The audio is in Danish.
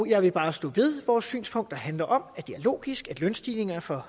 jeg vil bare stå ved vores synspunkt der handler om at det er logisk at lønstigninger for